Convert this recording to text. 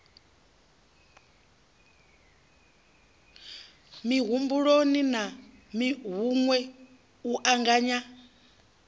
mihumbuloni na hunwe u anganya